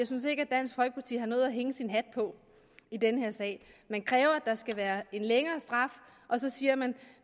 synes at dansk folkeparti har noget at hænge sin hat på i den her sag man kræver at der skal være en længere straf og så siger man